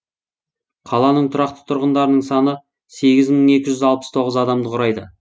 қаланың тұрақты тұрғындарының саны сегіз мың екі жүз алпыс тоғыз адамды құрайды